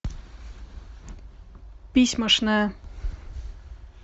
письмошная